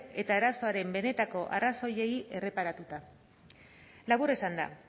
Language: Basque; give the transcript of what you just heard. eta arazoaren benetako arazoei erreparatuta labur esanda